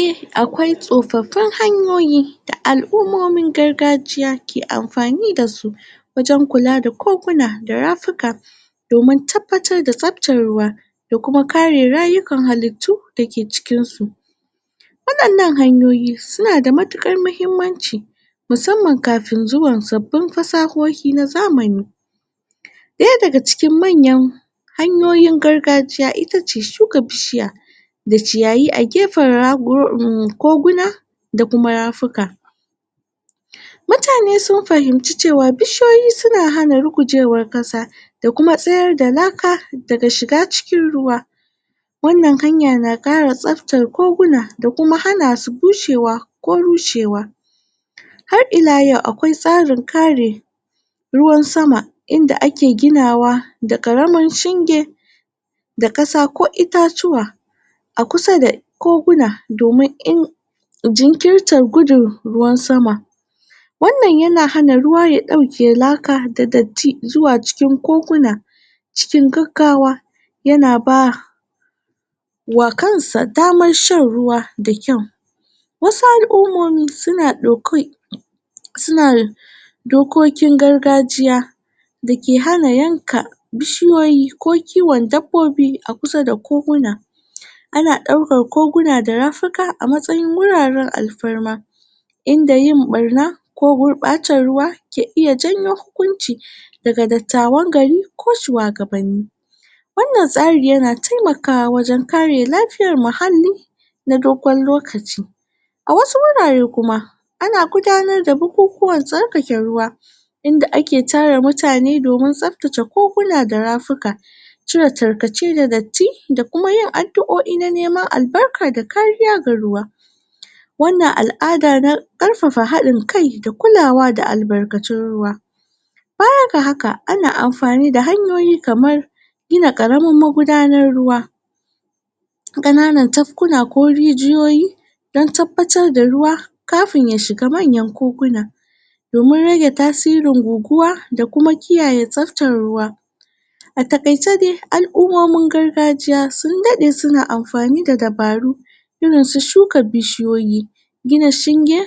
Eh akwai tsofaffin hanyoyi da alummomin gargajiya ke anfani da su wajen kula da koguna da rafika domin tabbatar da tarin ruwa ya kuma kare, rayukan halittu, da ke cikin su wayan nan hanyoyi suna da matukar hahimmanci musamman kafin zuwan sabbin, fasahohi na zamani daya daga cikin manyan hanyoyin gargajiya shine shuka bishiya da ciyayi a gefen raguna koguna da kuma rafika mutane sun fahinci cewa bishiyoyi, suna hana rugujewan kasa da kuma tsayar da laka daga shiga cikin ruwa wan nan hanya na kara shaftan koguna, da kuma kuma hana su bushewa ko rushewa har ila yau akwai tsarin kare gidan sama ruwan sama inda ake ginawa da karamin shinge da kasa ko itatuwa a kusa da koguna, domin in jinkintar gudun ruwan sama wan nan yana haka ruwa ya dauke, laka da datti, zuwa cikin koguna cikin gaggawa yana ba kan sa daman shan ruwa mai kyau wasu alummomi suna daukan suna dokokin kargajiya dake hana yanka bishiyoyi ko kiwon dabbobi a kusa da koguna a na daukan koguna da rafika a matsayin, huraren alfarma in da yin barna da gurbatan, ruwa ke iya janyo hukunci daga dattawan gari ko shuwagaban ni wan nan tsari yana taimakawa, wajen kare lafiyan muhalli na dogon lokaci, a wasu wurere kuma ana gudanar da abubuwan tsarkake ruwa inda ake tara mutane domin, tsarkake koguna da rafika cire tarkace daga ji da kuma da kuma yin aduoi na neman albarka da kariya ga ruwa wan nan al'ada na karfafa hadin kai da kulawa da albarkacin ruwa baya ga haka, ana anfani da hanyoyi, kaman gina magudanar ruwa da kananan tankuna ko rijiyoyi dan tabbatar da ruwa kafin ya shiga manyan koguna domin rage tasirin guguwa, da kuma kiyaye tasirin ruwa a takaice dai al'ummomin gargajiya sun dade suna anfani da dabaru irin su shuka bishiyoyi, gina shinge